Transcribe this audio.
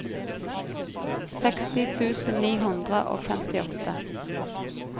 seksti tusen ni hundre og femtiåtte